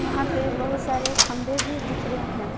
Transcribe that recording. यहां पे बहुत सारे खंभे भी दिख रहे हैं।